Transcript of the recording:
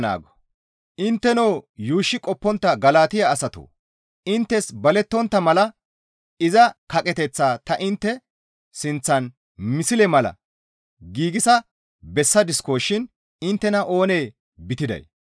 Intteno yuushshi qoppontta Galatiya asatoo! Inttes balettontta mala iza kaqeteththaa ta intte sinththan misle mala giigsa bessadisko shin inttena oonee bitiday?